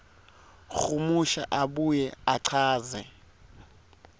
humusha abuye achaze